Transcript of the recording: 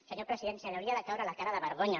senyor president li hauria de caure la cara de vergonya